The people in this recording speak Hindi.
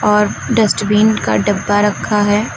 और डस्टबिन का डब्बा रखा है।